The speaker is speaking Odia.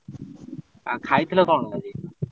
ଆଉ ଖାଇଥିଲ କଣ ଆଜି?